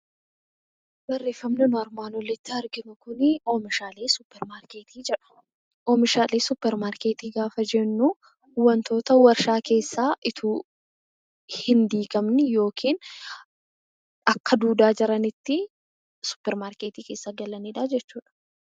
Wanti nuti asitti arginu kun oomishaalee suupparmaarkeetii jedha. Oomishaalee suupparmaarkeetii gaafa jennu wantoota warshaa keessaa osoo hin diigamiin yookiin akka duudaa jiranitti suupparmaarkeetii keessa galanidha jechuudha.